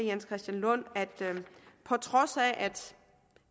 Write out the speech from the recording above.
jens christian lund at på trods af at